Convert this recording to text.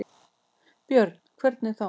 Björn: Hvernig þá?